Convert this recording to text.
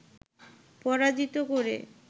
পরাজিত করে